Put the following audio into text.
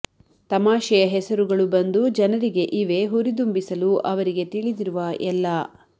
ತಮಾಷೆಯ ಹೆಸರುಗಳು ಬಂದು ಜನರಿಗೆ ಇವೆ ಹುರಿದುಂಬಿಸಲು ಅವರಿಗೆ ತಿಳಿದಿರುವ ಎಲ್ಲಾ